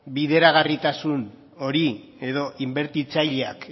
bideragarritasun hori edo inbertitzaileak